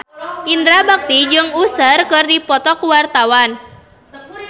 Indra Bekti jeung Usher keur dipoto ku wartawan